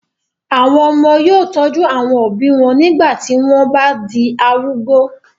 àwọn ọmọ yóò tọ́jú àwọn òbí wọn nígbà tí wọn o bá di arúgbó